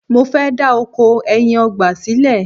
mo fẹ da oko ẹyin ọgbà sílẹ